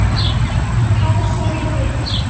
Þá sagði